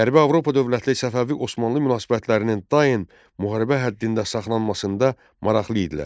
Qərbi Avropa dövlətləri Səfəvi Osmanlı münasibətlərinin daim müharibə həddində saxlanmasında maraqlı idilər.